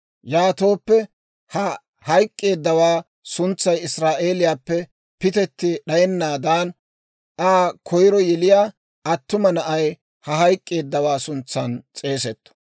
Yaatooppe ha hayk'k'eeddawaa suntsay Israa'eeliyaappe pitetti d'ayennaadan, Aa koyiro yeliyaa attuma na'ay ha hayk'k'eeddawaa suntsan s'eegetto.